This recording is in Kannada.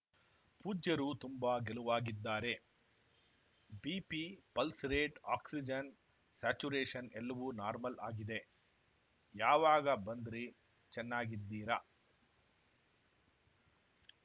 ಪೂಜ್ಯರು ತುಂಬಾ ಗೆಲುವಾಗಿದ್ದಾರೆ ಬಿಪಿ ಪಲ್ಸ್‌ರೇಟ್‌ ಆಕ್ಸಿಜನ್‌ ಸ್ಯಾಚುರೇಷನ್‌ ಎಲ್ಲವೂ ನಾರ್ಮಲ್‌ ಆಗಿದೆ ಯಾವಾಗ ಬಂದ್ರಿ ಚೆನ್ನಾಗಿದ್ದೀರಾ